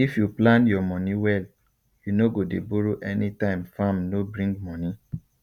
if you plan your money well you no go dey borrow anytime farm no bring money